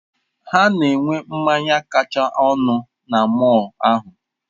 Ha na-enwe mmanya kacha ọnụ na mọll ahụ.